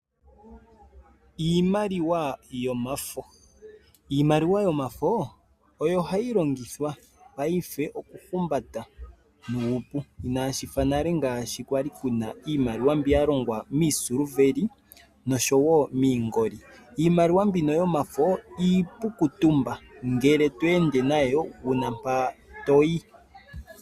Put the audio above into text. Iimaliwa yomafo Iimaliwa yomafo oyo hayi longithwa paife okuhumbatwa nuupu. Inashi fa nale shi kwa li iimaliwa mbi ya longwa miisiliveli nosho wo miingoli. Iimaliwa mbino yomafo iipu okutumba, ngele to ende nayo wu na mpa to yi.